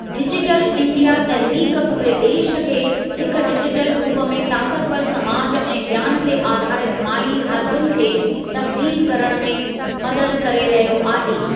Digital India तहरीक पूरे देश खे हिक डिजिटल रूप में ताक़तवरु समाज ऐं ज्ञान ते आधारित माली हालतुनि खे तब्दील करण में मददु करे रहियो आहे।